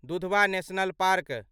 Dudhwa national park